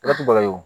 Laturu baga ye o